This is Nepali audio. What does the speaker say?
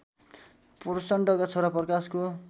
प्रचण्डका छोरा प्रकाशको